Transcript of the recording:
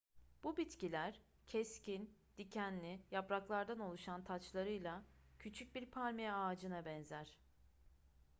bu bitkiler keskin dikenli yapraklardan oluşan taçlarıyla küçük bir palmiye ağacına benzer